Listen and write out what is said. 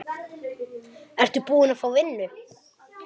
Ertu búin að fá vinnu?